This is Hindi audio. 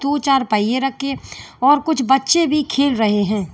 दो चार पहिए रखे हैं और कुछ बच्चे भी खेल रहे हैं।